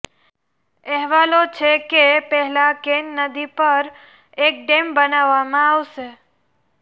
અહેવાલો છે કે પહેલા કેન નદી પર એક ડેમ બનાવવામાં આવશે